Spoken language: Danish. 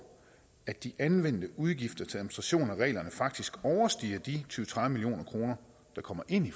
at de anvendte udgifter til administration af reglerne faktisk overstiger de tyve til tredive million kr der kommer ind i